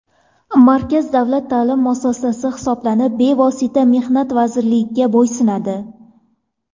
Markaz davlat ta’lim muassasasi hisoblanib, bevosita Mehnat vazirligiga bo‘ysunadi.